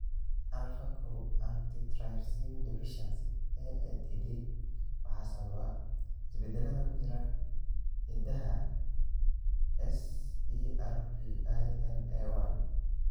Alfa kow antitrypsin deficiency (AATD) waxaa sababa isbeddellada ku jira hiddaha SERPINA1.